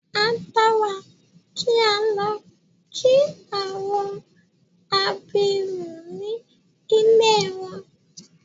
A dára kí á lọ kí àwọn abirùn ní ilée wọn.